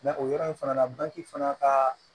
o yɔrɔ in fana na bange fana ka